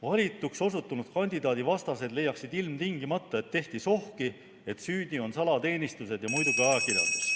Valituks osutunud kandidaadi vastased leiaksid ilmtingimata, et tehti sohki, et süüdi on salateenistused ja muidugi ajakirjandus.